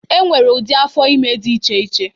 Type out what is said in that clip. E nwere ụdị afọ ime dị iche iche.